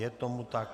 Je tomu tak.